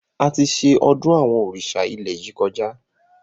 Àti ṣe ọdún àwọn òrìṣà ilẹ̀ yìí kọjá